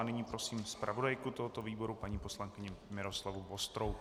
N nyní prosím zpravodajku tohoto výboru paní poslankyni Miroslavu Vostrou.